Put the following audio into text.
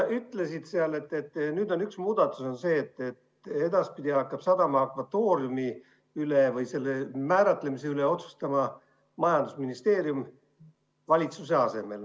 Sa ütlesid, et nüüd on üks muudatus see, et edaspidi hakkab valitsuse asemel sadama akvatooriumi või selle määratlemise üle otsustama majandusministeerium.